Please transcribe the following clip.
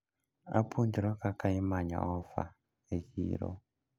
Apuonjra kaka imanyo ofa e chiro.